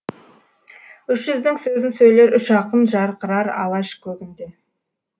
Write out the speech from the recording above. үш жүздің сөзін сөйлер үш ақын жарқырар алаш көгінде